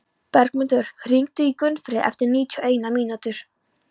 Bergmundur, hringdu í Gunnfríði eftir níutíu og eina mínútur.